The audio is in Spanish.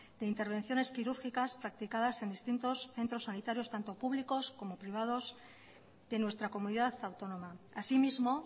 de intervenciones quirúrgicas practicadas en distintos centros sanitarios tanto públicos como privados de nuestra comunidad autónoma asimismo